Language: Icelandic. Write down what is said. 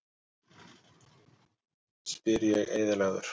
spyr ég eyðilagður.